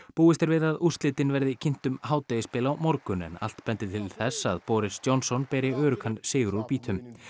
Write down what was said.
búist er við að úrslitin verði kynnt um hádegisbil á morgun en allt bendir til þess að Boris Johnson beri öruggan sigur úr býtum